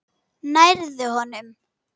Nærðu honum?